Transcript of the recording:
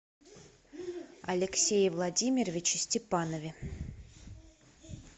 алексее владимировиче степанове